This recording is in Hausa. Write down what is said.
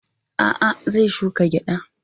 A'a, zai shuka gyada.